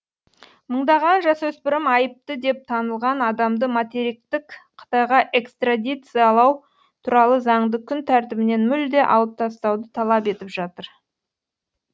мыңдаған жасөспірім айыпты деп танылған адамды материктік қытайға экстрадициялау туралы заңды күн тәртібінен мүлде алып тастауды талап етіп жатыр